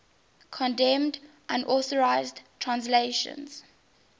condemned unauthorized translations